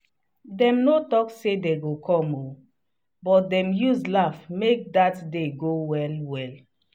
dem no talk say dem go come o but dem use laugh make dat day go well. well.